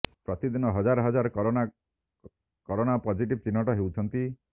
ପ୍ରତିଦିନ ହଜାର ହଜାର କରୋନା କରୋନା ପଜିଟିଭ୍ ଚିହ୍ନଟ ହେଉଛନ୍ତି